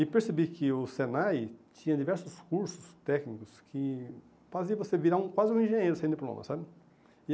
E percebi que o Senai tinha diversos cursos técnicos que fazia você virar quase um engenheiro sem diploma, sabe?